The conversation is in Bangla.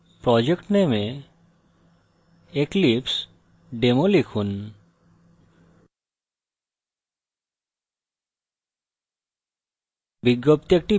project name এ eclipsedemo লিখুন